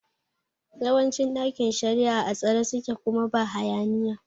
Yawancin ɗakin shari'a a tsare suke kuma ba hayaniya